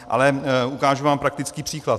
Ale ukážu vám praktický příklad.